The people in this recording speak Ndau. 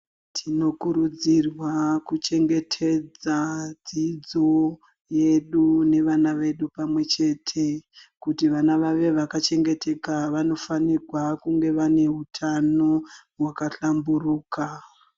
Tinokurudzirwa kuchengetedza dzidzo yedu nevana vedu pamwechete. Kuti vana vave vaka chengeteka vanofanirwa kunge vane hutano hwaka hlamburuka.